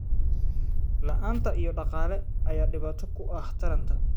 La'aanta ilo dhaqaale ayaa dhibaato ku ah taranta.